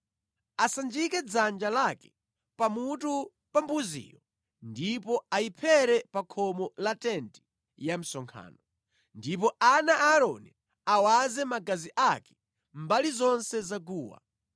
Asanjike dzanja lake pamutu pa mbuziyo ndipo ayiphere pa khomo la tenti ya msonkhano. Ndipo ana a Aaroni awaze magazi ake mbali zonse za guwa.